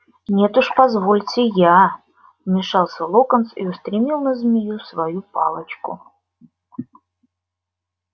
нет уж позвольте я вмешался локонс и устремил на змею свою палочку